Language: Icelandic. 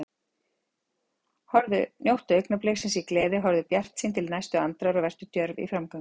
Njóttu augnabliksins í gleði, horfðu bjartsýn til næstu andrár og vertu djörf í framgöngu.